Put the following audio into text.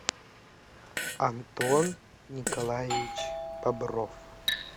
антон николаевич бобров